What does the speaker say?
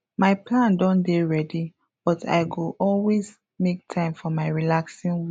my plan don dey ready but i go always make time for my relaxing way